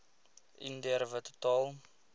indiër wit totaal